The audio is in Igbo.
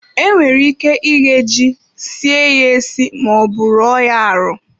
Enwere ike ighe ji, sie ye esi ma ọ bụ ruo ya arụ.